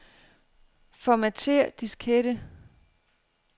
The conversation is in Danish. Formatér diskette.